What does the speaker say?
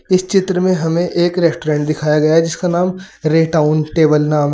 इस चित्र में हमें एक रेस्टोरेंट दिखाया गया जिसका नाम टाउन टेबल नाम--